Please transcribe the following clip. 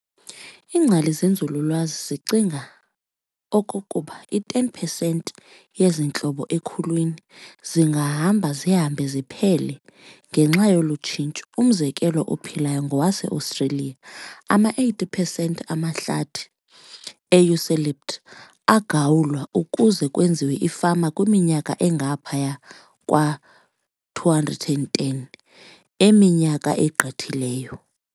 Ingcali zenzululwazi zicinga okokuba 10 percent yezi ntlobo ekhulwini zingahamba zihambe ziphele ngenxa yolu tshintsho. Umzekelo ophilayo ngowase-Australia, ama-80 percent amahlathi e-eucalypt aagawulwa ukuze kwenziwe ifama kwiminyaka engaphaya kwa-210 eminyaka egqithileyo.